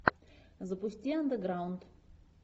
запусти андеграунд